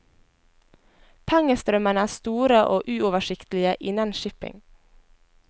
Pengestrømmene er store og uoversiktlige innen shipping.